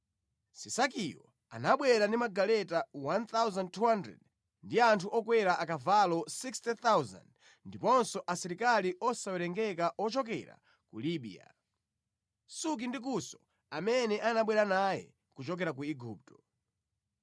Sisakiyo anabwera ndi magaleta 1,200 ndi anthu okwera akavalo 60,000 ndiponso asilikali osawerengeka ochokera ku Libiya, Suki ndi Kusi amene anabwera naye kuchokera ku Igupto.